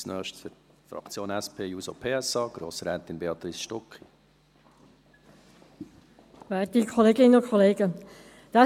Als Nächstes Grossrätin Béatrice Stucki, für die Fraktion SP-JUSO-PSA.